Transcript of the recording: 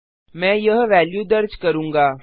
मैं यह वेल्यू दर्ज करूँगा